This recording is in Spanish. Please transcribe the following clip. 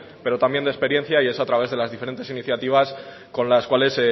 pero también de experiencia y es a través de las diferentes iniciativas con las cuales